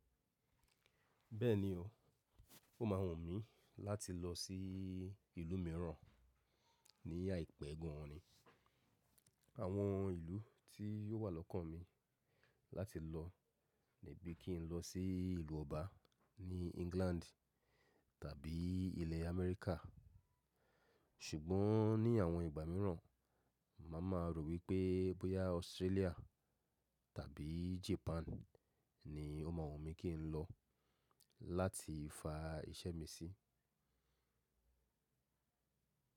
Bẹ́ẹ̀ni o, ó máa wùn mí láti lọ sí ìlú mìíràn ní àìpẹ́ gan-an ni. Àwọn ìlú tí yóò wà lọ́kàn mi láti lọ ni bí kí ń lọ sí ìlú ọba ní England tàbí ilẹ̀ Amẹ́ríkà. Ṣùgbọ́n ní àwọn ìgbà mìíràn, màá máa rò wí pé bóyá Australia tàbí Japan ni ó máa wù mí kí ń lọ láti fa iṣẹ́ mi sí.